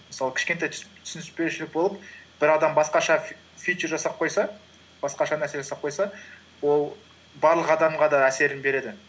мысалы кішкентай түсініспеушілік болып бір адам басқаша фиючер жасап қойса басқаша нәрсе жасап қойса ол барлық адамға да әсерін береді